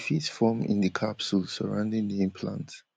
fit form in di capsule surrounding di implant